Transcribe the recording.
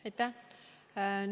Aitäh!